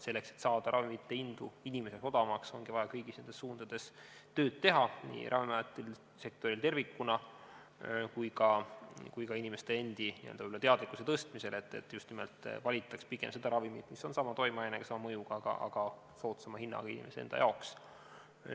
Selleks et saada ravimite hindu inimestele odavamaks, ongi vaja kõigis nendes suundades tööd teha – nii Ravimiametil, sektoril tervikuna kui ka inimeste endi teadlikkuse tõstmisel, et valitaks pigem just nimelt seda ravimit, mis on sama toimeaine ja sama mõjuga, aga inimesele endale soodsama hinnaga.